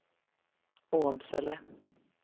Åmsele